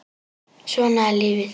Svona er lífið.